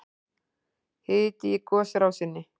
Hiti í gosrásinni